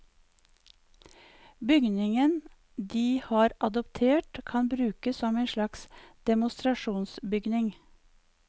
Bygningen de har adoptert kan brukes som en slags demonstrasjonsbygning.